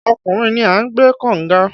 Ọkùnrin ni ń gbẹ́ kọ̀nga